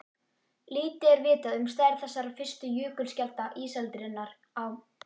Lítið er vitað um stærð þessara fyrstu jökulskjalda ísaldarinnar á